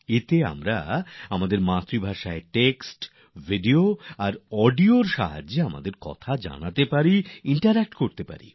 এতে নিজের মাতৃভাষায় টেক্সট ভিডিও আর অডিওর মাধ্যমে কথা বলতে পারবেন মতামত বিনিময় করতে পারবেন